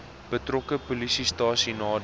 betrokke polisiestasie nader